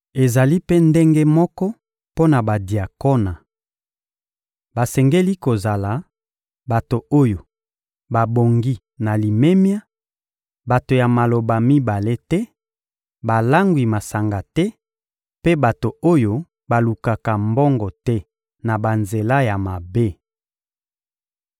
Ezali mpe ndenge moko mpo na badiakona. Basengeli kozala: bato oyo babongi na limemia, bato ya maloba mibale te, balangwi masanga te mpe bato oyo balukaka mbongo te na banzela ya mabe.